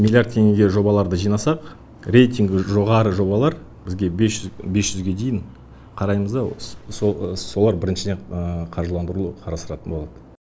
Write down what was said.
миллиард теңгеге жобаларды жинасақ рейтингі жоғары жобалар бізге бес жүзге дейін қараймыз да солар біріншіден қаржыландыруды қарастыратын болады